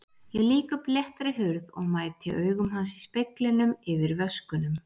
Ég lýk upp léttri hurð og mæti augum hans í speglinum yfir vöskunum.